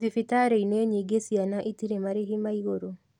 Thibitarĩ-inĩ nyingĩ ciana itirĩ marĩhi ma igũrũ